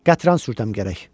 Qatran sürtəm gərək.